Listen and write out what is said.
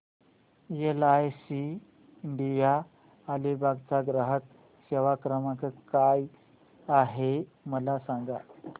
LIC India Alibag चा ग्राहक सेवा क्रमांक काय आहे मला सांगा